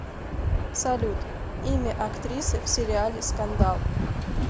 салют имя актрисы в сериале скандал